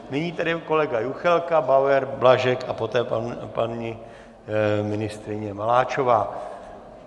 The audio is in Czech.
Nyní tedy kolega Juchelka, Bauer, Blažek a poté paní ministryně Maláčová.